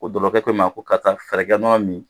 Ko ko i ma ko karisa fɛɛrɛ kɛ nɔnɔ min